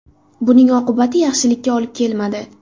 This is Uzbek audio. Buning oqibati yaxshilikka olib kelmadi.